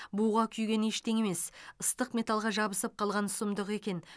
буға күйген ештеңе емес ыстық металға жабысып қалған сұмдық екен